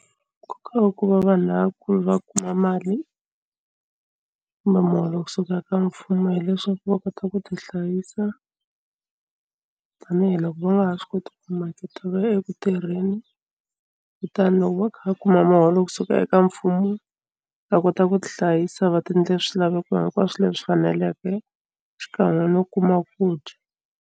Nkoka wa ku va vanhu lavakulu va kuma mali kumbe muholo kusuka ka mfumo hileswaku va kota ku tihlayisa tanihiloko va nga ha swi koti ku maketa va ya eku tirheni kutani loko va kha va kuma muholo kusuka eka mfumo va kota ku tihlayisa va ti endlela swilaveko hinkwaswo leswi faneleke xikan'we no kuma ku dya.